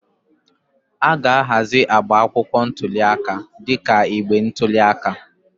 A ga-ahazi agba akwụkwọ ntuli aka dịka igbe ntụli aka.